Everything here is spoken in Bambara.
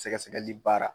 Sɛgɛsɛgɛli baara